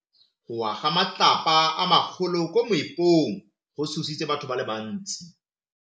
Go wa ga matlapa a magolo ko moepong go tshositse batho ba le bantsi.